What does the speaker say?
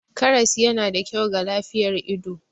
Karas yana da kyau ga lafiyar ido.